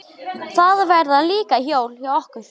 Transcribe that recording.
Það verða líka jól hjá okkur